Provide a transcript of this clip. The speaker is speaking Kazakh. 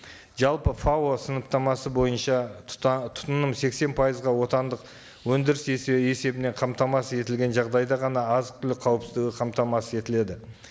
жалпы фао сыныптамасы бойынша тұтыным сексен пайызға отандық өндіріс есебінен қамтамасыз етілген жағдайда ғана азық түлік қауіпсіздігі қамтамасыз етіледі